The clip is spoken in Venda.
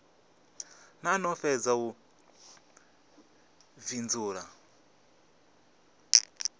no no fhedza u fhindula